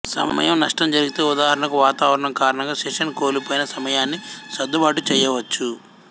సమయం నష్టం జరిగితే ఉదాహరణకు వాతావరణం కారణంగా సెషన్ కోల్పోయిన సమయాన్ని సర్దుబాటు చేయవచ్చు